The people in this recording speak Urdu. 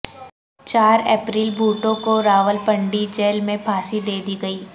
چار اپریل بھٹو کو راولپنڈی جیل میں پھانسی دے دی گئی